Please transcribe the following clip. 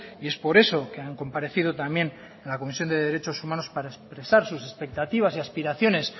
y es por eso que han comparecido también en la comisión de derechos humanos para expresar sus expectativas y aspiraciones